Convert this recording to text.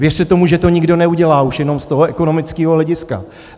Věřte tomu, že to nikdo neudělá, už jenom z toho ekonomického hlediska.